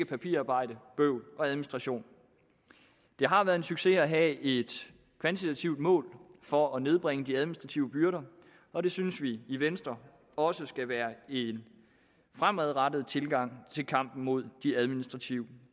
papirarbejde bøvl og administration det har været en succes at have et kvantitativt mål for at nedbringe de administrative byrder og det synes vi i venstre også skal være en fremadrettet tilgang i kampen mod de administrative